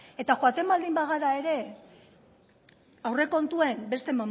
eta joaten baldin bagara ere aurrekontuen beste